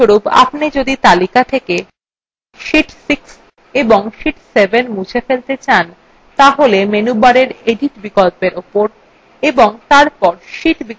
উদাহরণস্বরূপ যদি আপনি তালিকা থেকে sheet 6 ও sheet 7 মুছে ফেলতে চান তাহলে menu bar edit বিকল্পর উপর এবং তারপর sheet বিকল্পত়ে click করুন